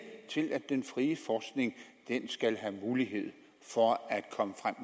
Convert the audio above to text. til at den frie forskning skal have mulighed for at komme frem